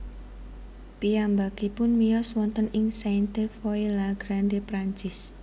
Piyambakipun miyos wonten ing Sainte Foy la Grande Perancis